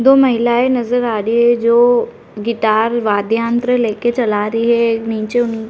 दो महिलायें नजर आ रही हैं जो गिटार वाद्य यंत्र लेकर चला रही है। नीचे --